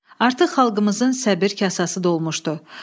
Artıq xalqımızın səbr kasası dolmuşdu.